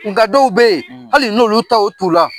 Nka dɔw bɛ yen hali n'olu t'aw la